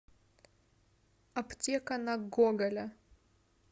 аптека на гоголя